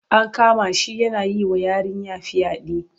An kama shi yana yi wa yarinya fyaɗe.